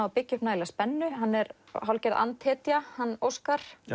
að byggja upp nægilega spennu hann er hálfgerð hann Óskar